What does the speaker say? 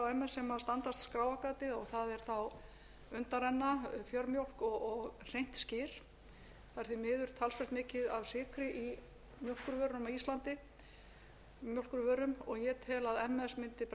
ms sem standast skráargatið það er þá undanrenna fjörmjólk og hreint skyr það er því miður talsvert mikið af sykri í mjólkurvörum á íslandi og ég tel að ms mundi bregðast